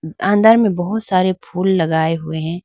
अंदर में बहुत सारे फूल लगाए हुए हैं।